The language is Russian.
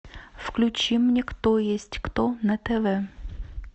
включи мне кто есть кто на тв